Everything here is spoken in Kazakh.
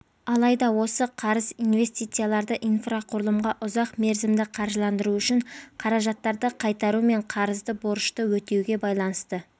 алайда осы қарыз инвестицияларды инфрақұрылымға ұзақ мерзімді қаржыландыру үшін қаражаттарды қайтару мен қарызды борышты өтеуге байланысты